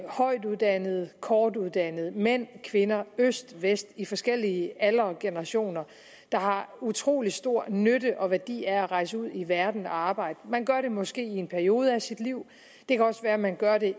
højtuddannede og kortuddannede mænd og kvinder i øst og i vest i forskellige aldre og generationer der har utrolig stor nytte og værdi af at rejse ud i verden og arbejde man gør det måske i en periode af sit liv det kan også være at man gør det